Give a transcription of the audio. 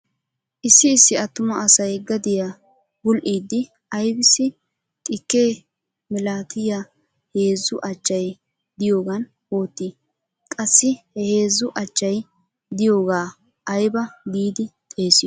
Issi issi attuma asay gadiya bul"iiddi aybissi xikke milatiya heezzu achchay diyogan oottii? Qassi he heezzu achchay diyogaa ayba giidi xeesiyo?